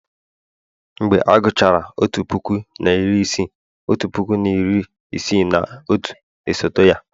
mgbe a gụchara otu puku na iri isii, otu puku na iri isii na otu, esote ya